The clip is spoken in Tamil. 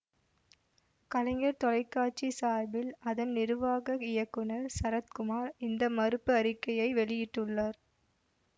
கலைஞர் தொலை காட்சி சார்பில் அதன் நிருவாக இயக்குனர் சரத்குமார் இந்த மறுப்பு அறிக்கையை வெளியிட்டுள்ளார்